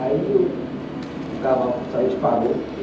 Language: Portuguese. Aí o cavalo saiu e disparou.